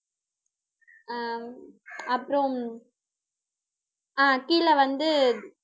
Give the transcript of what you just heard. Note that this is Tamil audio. அஹ் ஹம் அப்புறம் ஆஹ் கீழே வந்து